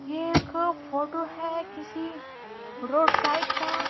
ये एक फोटो है किसी रोड साइड का।